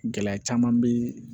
Gɛlɛya caman bɛ